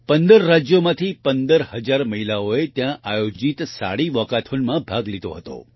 15 રાજ્યોમાંથી 15000 મહિલાઓએ ત્યાં આયોજિત સાડી વાલ્કાથોન ભાગ લીધો હતો